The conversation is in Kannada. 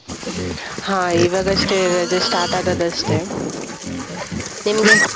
ಹಾ ಇವಾಗಷ್ಟೇ ರಜೆ start ಆದದಷ್ಟೇ ನಿಮ್ಗೆ?